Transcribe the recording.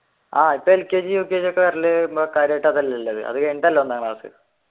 ആഹ് lkg ukg ഒക്കെ വരൽ അതുകഴിഞ്ഞിട്ടല്ലേ ഒന്നാം ക്ലാസ്